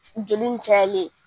Joli nin cayali ye.